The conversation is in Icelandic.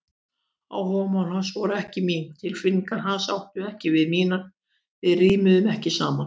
Áhugamál hans voru ekki mín, tilfinningar hans áttu ekki við mínar, við rímuðum ekki saman.